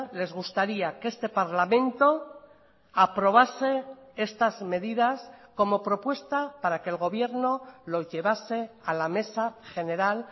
les gustaría que este parlamento aprobase estas medidas como propuesta para que el gobierno lo llevase a la mesa general